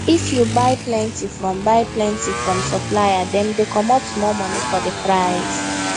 if you buy plenty from buy plenty from supplier dem dey comot small money for the price